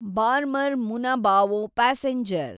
Barmer Munabao passenger